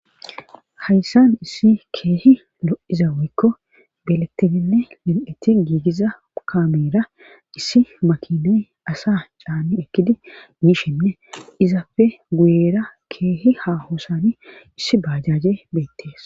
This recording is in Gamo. Hayssan issi keehi lo7iza woykko belettininne mil7eti giigiza kameera issi makinay asa caani ekkidi mishenne izapfe guyera keehi ha hosani issi bajaje beettees.